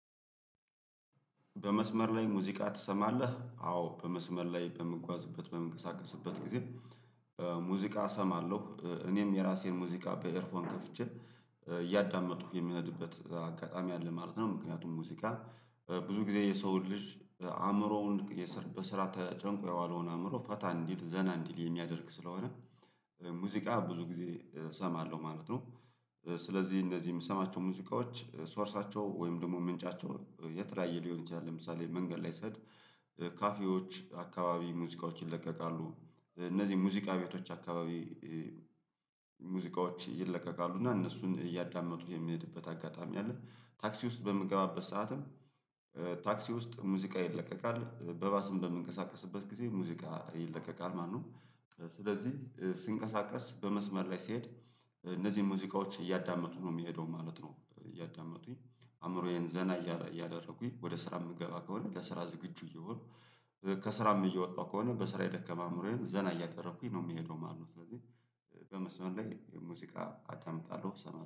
በመስመር ላይ ሙዚቃ ትሰማለህ? አዎ በመስመር ላይ በምጓዝበት በምንቀሳቀስበት ጊዜ ሙዚቃ እሰማለሁ እኔም የራሴን ሙዚቃ በኤርፎን ከፍቼ እያዳመጡኩ የሚሄድበት አጋጣሚ አለ ማለት ነው ምክንያቱም ሙዚቃ ብዙ ጊዜ የሰውን ልጅ አእምሮውን የሰር በስራ ተጨንቆ የዋለውን አእምሮ ፈታ እንዲል ዘና እንዲል የሚያደርግ ስለሆነ ሙዚቃ ብዙ ጊዜ እሰማለሁ ማለት ነው ስለዚህ እንዚህ ምሰማቸው ሙዚቃዎች ሶርሳቸው ወይም ደግሞ ምንጫቸው የተለያየ ሊሆን ይችላል ለምሳሌ መንገድ ላይ ስኸድ ካፌዎች አካባቢ ሙዚቃዎች ይለቀቃሉ እነዚህ ሙዚቃ ቤቶች አካባቢ ሙዚቃዎች ይለቀቃሉ እና እነሱን እያዳመጥኩ የሚሄድበት አጋጣሚ አለ ታክሲ ውስጥ በምገባበት ሰዓትም ታክሲ ውስጥ ሙዚቃ ይለቀቃል በባስም በምንቀሳቀስበት ጊዜ ሙዚቃ ይለቀቃል ማነው ስለዚህ ስንቀሳቀስ በመስመር ላይ ሲሄድ እነዚህን ሙዚቃዎች እያዳመጡኩ ነው ሚሄደው ማለት ነው እያዳመጡኝ አእምሮዬን ዘና እያደረጉኝ ወደ ስራ ምገባ ከሆነ ለስራ ዝግጁ እየሆንኩ ከስራም እየወጣሁ ከሆነ በስራ የደከመ አእምሮዬን ዘና እያደረኩኝ ነው ሚሄደው ማለት ነው ስለዚህ በመስመር ላይ ሙዚቃ አዳምጣለሁ እሰማለው